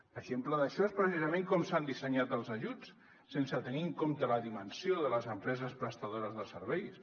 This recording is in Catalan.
exemple d’això és precisament com s’han dissenyat els ajuts sense tenir en compte la dimensió de les empreses prestadores de serveis